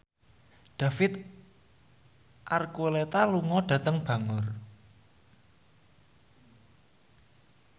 David Archuletta lunga dhateng Bangor